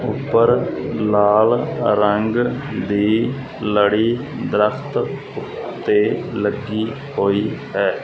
ਉੱਪਰ ਲਾਲ ਰੰਗ ਦੀ ਲੜੀ ਦਰਖਤ ਉੱਤੇ ਲੱਗੀ ਹੋਈ ਹੈ।